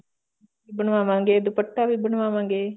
ਬਨਵਾਵਾਂਗੇ ਦੁਪੱਟਾ ਵੀ ਬਨਵਾਵਾਂਗੇ